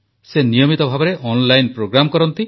ସେ ନିୟମିତ ଭାବରେ ଅନଲାଇନ ପ୍ରୋଗ୍ରାମ୍ କରନ୍ତି